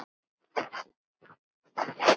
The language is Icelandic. Að safna liði!